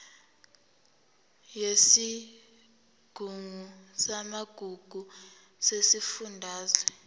yesigungu samagugu sesifundazwe